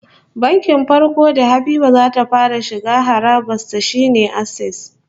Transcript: Bankin farko da Habiba za ta fara shiga harabar sa shine Access